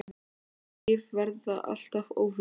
Orð og líf verða alltaf óvinir.